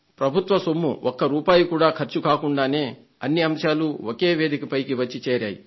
ప్రభుత్వ సొమ్ము ఒక్క రూపాయి కూడా ఖర్చు కాకుండానే అన్ని అంశాలు ఒకే వేదిక పైకి వచ్చి చేరాయి